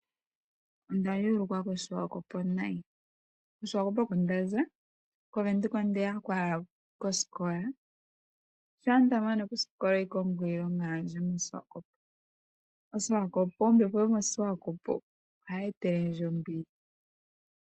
Onda yelukwa ko Siwakopo nayi , ko siwakopo oko ndaza ,Kovenduka ondeyako owala kosikola , ngele onda mana osikola andi shuna kosiwakopo. Okuna ombepo ombwanawa noshowo efuta